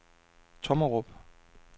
Tommerup